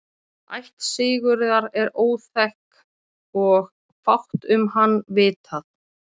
ætt sigurðar er óþekkt og fátt um hann vitað